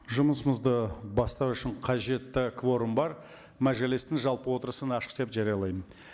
жұмысымызды бастау үшін қажетті кворум бар мәжілістің жалпы отырысын ашық деп жариялаймын